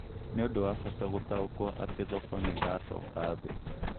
Nĩũndũ wa Bata gũtaũkwo atĩ thoko nĩiracoka thĩ